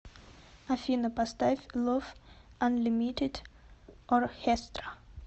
афина поставь лов анлимитед орхестра